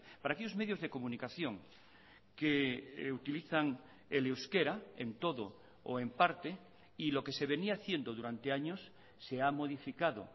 para aquellos medios de comunicación que utilizan el euskera en todo o en parte y lo que se venía haciendo durante años se ha modificado